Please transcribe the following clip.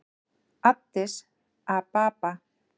Addis Ababa